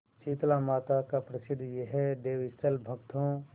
शीतलामाता का प्रसिद्ध यह देवस्थल भक्तों